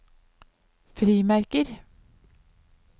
frimerker